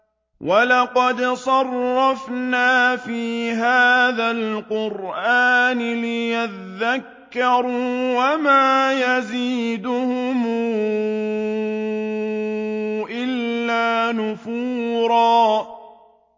وَلَقَدْ صَرَّفْنَا فِي هَٰذَا الْقُرْآنِ لِيَذَّكَّرُوا وَمَا يَزِيدُهُمْ إِلَّا نُفُورًا